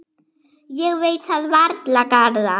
Ég veit það varla, Garðar.